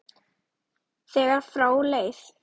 þegar frá leið.